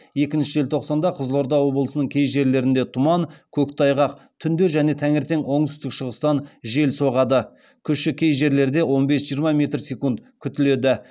екінші желтоқсанда қызылорда облысының кей жерлерінде тұман көктайғақ түнде және таңертең оңтүстік шығыстан жел соғады күші кей жерлерде он бес жиырма метр секунд күтіледі